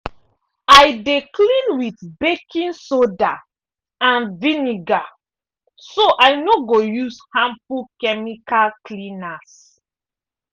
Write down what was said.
i dey clean with baking soda and vinegar so i no go use harmful chemical cleaners.